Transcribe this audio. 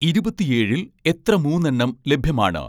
ഇരുപത്തിയേഴിൽ എത്ര മൂന്നെണ്ണം ലഭ്യമാണ്